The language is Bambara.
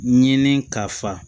Ɲini ka fa